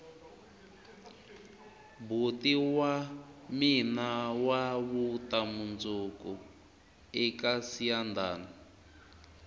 boti wa mina wa vuta mundzuku eka siyandhani